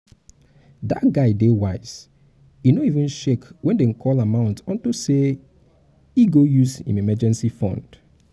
dat guy dey wise he no even shake wen dey call amount unto say he go use im emergency fund